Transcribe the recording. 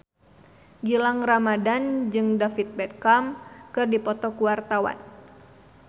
Gilang Ramadan jeung David Beckham keur dipoto ku wartawan